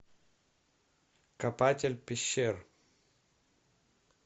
копатель пещер